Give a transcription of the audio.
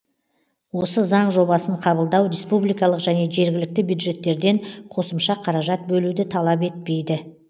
осы заң жобасын қабылдау республикалық және жергілікті бюджеттерден қосымша қаражат бөлуді талап етпейді